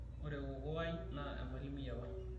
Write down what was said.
ore kokoo ai naa emalimui apa